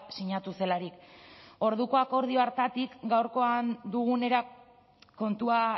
sinatu zelarik orduko akordio hartatik gaurkoan dugunera kontua